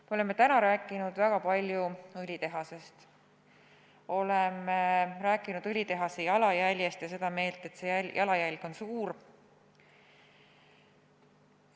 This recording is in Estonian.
Me oleme täna rääkinud väga palju õlitehasest, oleme rääkinud õlitehase jalajäljest ja oleme seda meelt, et see jalajälg on suur.